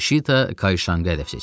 Şita Kayşanaq hədəf seçmişdi.